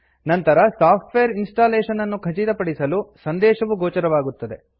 ನಂತರ software installation ಅನ್ನು ಖಚಿತಪಡಿಸಲು ಸಂದೇಶವು ಗೋಚರವಾಗುತ್ತದೆ